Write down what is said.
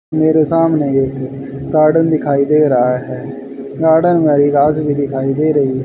मेरे सामने एक गार्डन दिखाई दे रहा है गार्डन वाली घास भी दिखाई दे रही है।